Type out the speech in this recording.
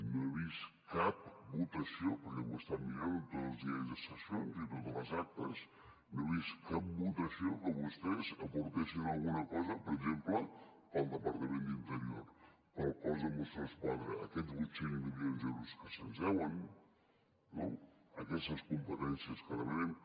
no he vist cap votació perquè ho he estat mirant en tots els diaris de sessions i a totes les actes que vostès aportessin alguna cosa per exemple per al departament d’interior per al cos de mossos d’esquadra aquests vuit cents milions d’euros que se’ns deuen no aquestes competències que demanem